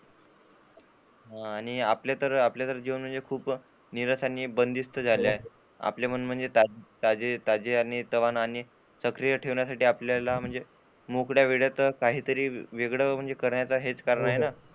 हा आणि आता आपल्या जीवनामध्ये खूप निसरशी आणि बंदिस्त झाले आहे, आपले मन म्हणजे ताजे आणि ताजेतवाने आणि सक्रिय ठेवण्यासाठी आपल्याला मोकळ्या वेळेत काहीतरी वेगळं करायचा हेतू आहे ना.